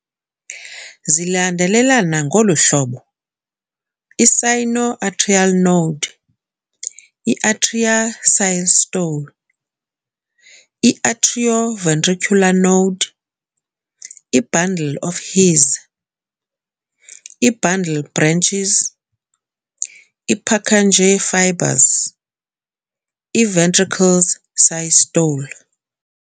Zilandelelana ngolu hlobo - I-Sino-Atrial Node - i-Atria, systole - i-Atrio-Ventricular Node - i-Bundle of His - i-Bundle branches - i-Purkinje Fibers - i-Ventricles, systole.